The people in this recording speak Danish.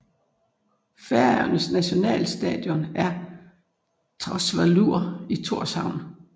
Færøernes nationalstadion er Tórsvøllur i Tórshavn